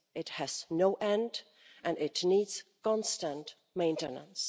It has no end and it needs constant maintenance.